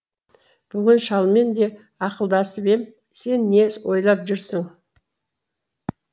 бүгін шалмен де ақылдасып ем сен не ойлап жүрсің